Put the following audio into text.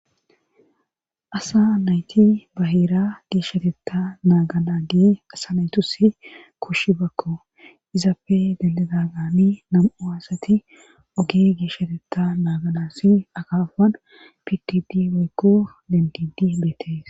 Asa nayti ba heera geeshshatetta naaganagee asa naytusi koshshiyabakko izapfe dendidagani nam'u aasati oge geeshshatetta naaganassi akafan pitidi owykko dentidi beetees